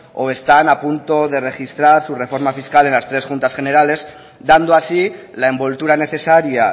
o están a punto de registrar su reforma fiscal en las tres juntas generales dando así la envoltura necesaria